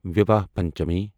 Vivaha Panchami